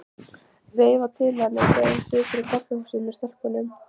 Veifa til hennar þegar hún situr á kaffihúsi með stelpunum.